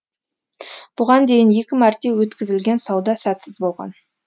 бұған дейін екі мәрте өткізілген сауда сәтсіз болған